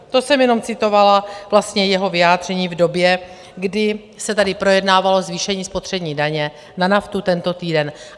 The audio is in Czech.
To jsem jenom citovala vlastně jeho vyjádření v době, kdy se tady projednávalo zvýšení spotřební daně na naftu tento týden.